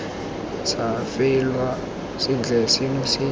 sa faelwa sentle seno se